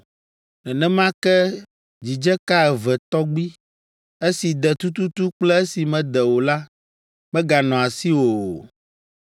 Nenema ke dzidzeka eve tɔgbi, esi de tututu kple esi mede o la, meganɔ asiwò o.